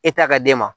E t'a ka d'e ma